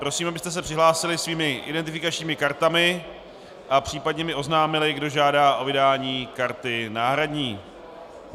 Prosím, abyste se přihlásili svými identifikačními kartami a případně mi oznámili, kdo žádá o vydání karty náhradní.